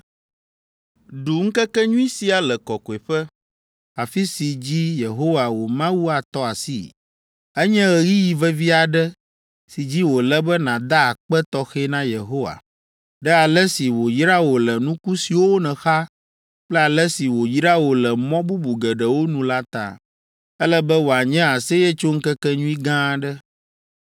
Ɖu ŋkekenyui sia le kɔkɔeƒe, afi si dzi Yehowa wò Mawu atɔ asii. Enye ɣeyiɣi vevi aɖe si dzi wòle be nàda akpe tɔxɛ na Yehowa, ɖe ale si wòyra wò le nuku siwo nèxa kple ale si wòyra wò le mɔ bubu geɖewo nu la ta. Ele be wòanye aseyetsoŋkekenyui gã aɖe.